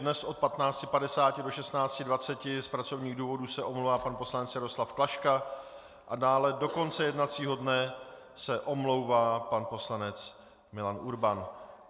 Dnes od 15.50 do 16.20 z pracovních důvodů se omlouvá pan poslanec Jaroslav Klaška a dále do konce jednacího dne se omlouvá pan poslanec Milan Urban.